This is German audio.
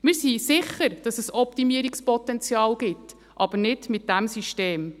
Wir sind sicher, dass es Optimierungspotenzial gibt – aber nicht mit diesem System.